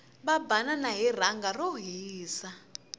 va banana hi rhanga ro hisa